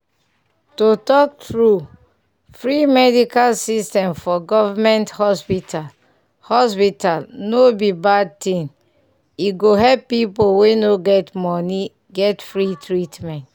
to talk true free medical system for goverment hospital hospital no be bad thing e go help pipu we no get money get free treatment.